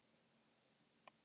Mest var af kókaíni.